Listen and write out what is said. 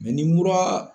ni mura